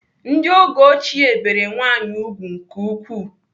Ndị oge ochie bere nwaanyị ùgwù nke ukwuu.